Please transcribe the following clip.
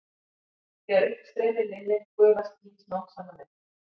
Þegar uppstreymi linnir gufa skýin smám saman upp.